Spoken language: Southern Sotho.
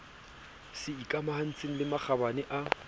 se ikamahantseng le makgabane a